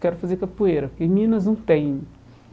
Quero fazer capoeira, porque em Minas não tem.